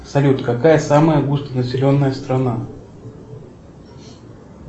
салют какая самая густонаселенная страна